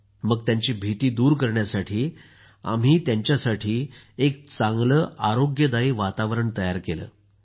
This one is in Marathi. त्यांची भीती दूर करण्यासाठी आम्ही त्यांना एक चांगलं आरोग्यदायी वातावरण तयार केलं सर